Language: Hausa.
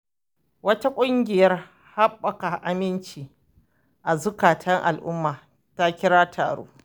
Wata ƙungiyar ɗabbaka aminci a zukatan al'umma ta kira taro.